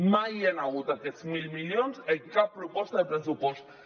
mai hi han hagut aquests mil milions en cap proposta de pressupost